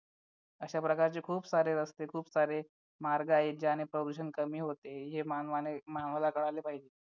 अशा प्रकारचे खूप सारे रस्ते खूप सारे मार्ग आहेत ज्याने प्रदूषण कमी होते हे मानवाने मानवाला कळायला पाहिजे